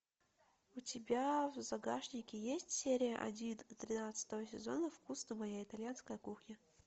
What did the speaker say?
у тебя в загашнике есть серия один тринадцатого сезона вкусно моя итальянская кухня